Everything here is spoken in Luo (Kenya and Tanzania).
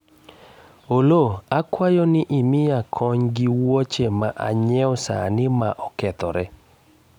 Oloo akwayo ni imiya kony gi wuoche ma anyiewo sani ma okethore